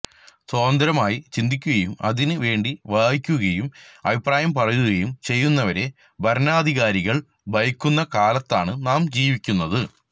സ്വതന്ത്രമായി ചിന്തിക്കുകയും അതിന് വേണ്ടി വായിക്കുകയും അഭിപ്രായം പറയുകയും ചെയ്യുന്നവരെ ഭരണാധികാരികള് ഭയക്കുന്ന കാലത്താണ് നാം ജീവിക്കുന്നത്